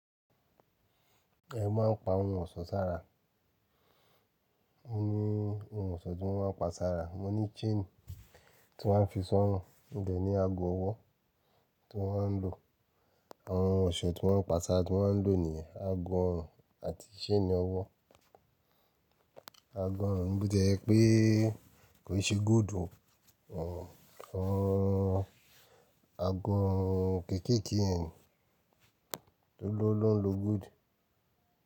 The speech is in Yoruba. Ẹ máa ń pa ohun ọ̀ṣọ́ sára. Ó ní ohun ọ̀ṣọ́ tí mo máa ń pa sára, mo ní chain tí mo máa ń fi sí ọ̀run. Mo de ní ago ọwọ́ tí mo máa ń lò. Àwọn ohun ọ̀ṣọ́ tí mo ń pa sára tí mo ń lò ní ye, ago ọ̀run àti chain ọwọ́. Ago ọ̀run, bó ti ẹ jẹ́ pé kìí ṣe gold ò hán. Àgo ọrùn kéékèèké yẹn ni olówó ló ń lo gold.